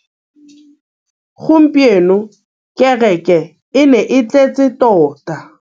Gompieno kêrêkê e ne e tletse tota.